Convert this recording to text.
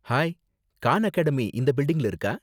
Hi, Khan Academy இந்த பில்டிங்ல இருக்கா?